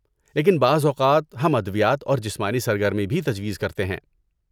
لیکن بعض اوقات ہم ادویات اور جسمانی سرگرمی بھی تجویز کرتے ہیں۔